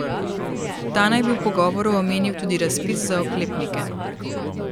Ta naj bi v pogovoru omenil tudi razpis za oklepnike.